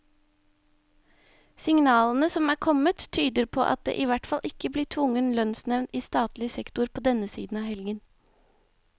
Signalene som er kommet, tyder på at det i hvert fall ikke blir tvungen lønnsnevnd i statlig sektor på denne siden av helgen.